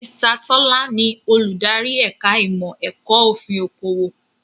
Mr. Tọ́lá ni Olùdarí ẹ̀ka ìmọ̀ ẹ̀kọ́ òfin okòwò